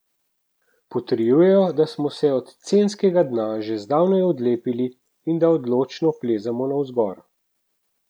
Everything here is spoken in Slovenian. Potrjujejo, da smo se od censkega dna že zdavnaj odlepili in da odločno plezamo navzgor.